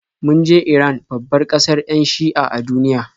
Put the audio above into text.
Mun je Iran, babbar kasar 'yan Shi'a a duniya.